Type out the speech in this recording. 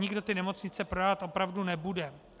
Nikdo ty nemocnice prodávat opravdu nebude.